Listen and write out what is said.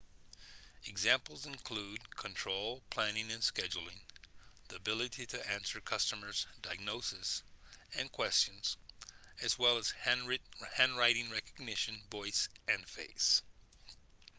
examples include control planning and scheduling the ability to answer customer diagnoses and questions as well as handwriting recognition voice and face